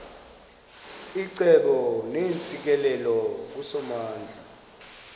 icebo neentsikelelo kusomandla